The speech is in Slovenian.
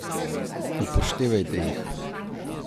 Upoštevajte jih!